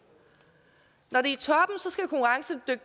når det